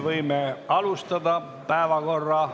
Esiteks ...